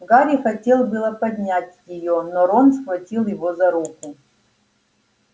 гарри хотел было поднять её но рон схватил его за руку